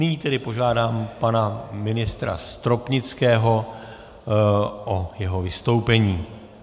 Nyní tedy požádám pana ministra Stropnického o jeho vystoupení.